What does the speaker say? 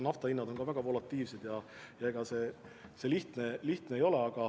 Nafta hinnad on muidugi väga volatiilsed ja ega see lihtne ei ole.